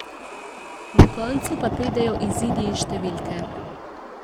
Na koncu pa pridejo izidi in številke.